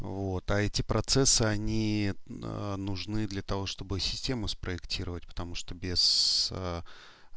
вот а эти процессы они а нужны для того чтобы системы спроектировать потому что без а